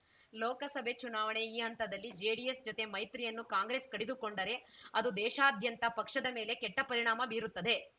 ಲೋಕಸಭೆ ಚುನಾವಣೆ ಈ ಹಂತದಲ್ಲಿ ಜೆಡಿಎಸ್‌ ಜತೆ ಮೈತ್ರಿಯನ್ನು ಕಾಂಗ್ರೆಸ್‌ ಕಡಿದುಕೊಂಡರೆ ಅದು ದೇಶಾದ್ಯಂತ ಪಕ್ಷದ ಮೇಲೆ ಕೆಟ್ಟಪರಿಣಾಮ ಬೀರುತ್ತದೆ